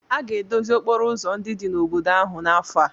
A ga-edozi okporo ụzọ ndị dị n'obodo ahụ n'afọ a.